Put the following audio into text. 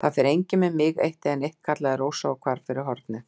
Það fer enginn með mig eitt né neitt, kallaði Rósa og hvarf fyrir hornið.